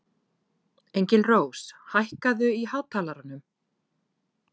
Engilrós, hækkaðu í hátalaranum.